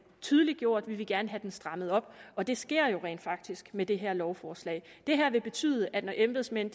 tydeliggjort vi ville gerne have den strammet op og det sker jo rent faktisk med det her lovforslag det her vil betyde at når embedsmænd